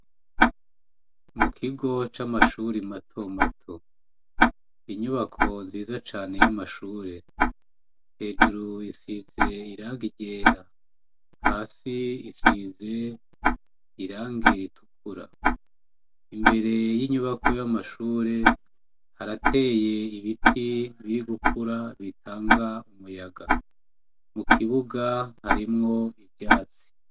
Mukigo c'amashure mato mato. Inyubako nziza cane y'amashure, hejuru isize irangi ryera hasi isize irangi ritukura. Imbere y'inyubako y'amashure harateye ibiti biri gukura bitanga umuyaga. Mukibuga harimwo ivyatsi.